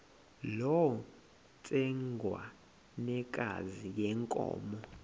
loo ntsengwanekazi yenkomo